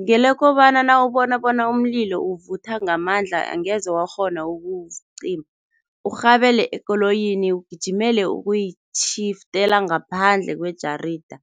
Ngelokobana nawubona bona umlilo uvutha ngamandla angeze wakghona ukuwucima urhabele ekoloyini, ugijimele ukuyitjhiftela ngaphandle kwejarida,